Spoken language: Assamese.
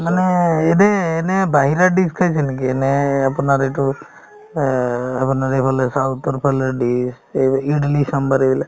মানে এনে~ এনে বাহিৰা dish খাইছে নেকি এনে আপোনাৰ এইটো অ আপোনাৰ এইফালে south ৰ ফালে dish এইব~ ইদলি চাম্ভাৰ এইবিলাক